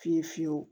Fiye fiyewu